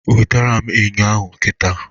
Wetara m Ịnyo ahụ kita